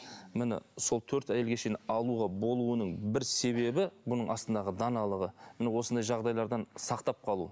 міне сол төрт әйелге шейін алуға болуының бір себебі бұның астындағы даналығы міне осындай жағдайлардан сақтап қалу